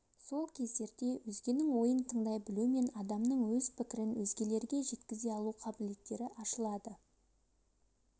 сол кездерде өзгенің ойын тыңдай білу мен адамның өз пікірін өзгелерге жеткізе алу қабілеттері ашылады